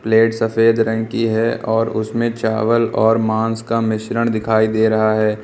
Plate सफेद रंग की है और उसमें चावल और मांस का मिश्रण दिखाई दे रहा है।